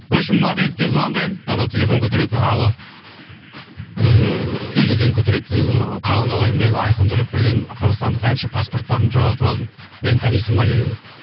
в общем мадридке звондаймын анау телефон көтереді алло ыыы игорь деген көтереді ыыы қалың қалай мен айқын төлепберген қазақстандық әнші паспортарымды жоғалтып алдым мені танисың ба деп едім